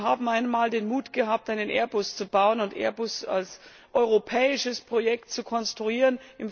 Wir haben einmal den Mut gehabt, einen Airbus zu bauen und Airbus als europäisches Projekt zu konstruieren.